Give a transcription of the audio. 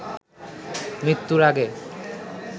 মৃত্যুর আগে